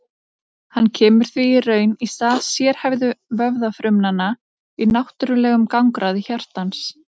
hann kemur því í raun í stað sérhæfðu vöðvafrumanna í náttúrlegum gangráði hjartans